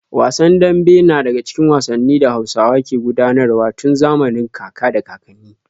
Wasan dambe na daga cikin wasannin da Hausawa ke gudanar wa tun zamanin kaka da kakanni.